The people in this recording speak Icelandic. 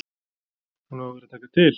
Hún á að vera að taka til.